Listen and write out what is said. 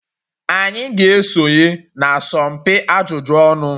Anyị ga-esonye na asọmpi ajụjụ ọnụ.